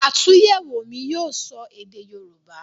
àtúnyẹ̀wò mi yíò sọ èdè yorúbá.